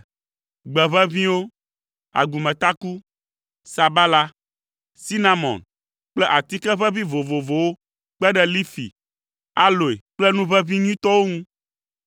gbe ʋeʋĩwo, agumetaku, sabala, sinamon kple atike ʋeʋĩ vovovowo kpe ɖe lifi, aloe kple nu ʋeʋĩ nyuitɔwo ŋu.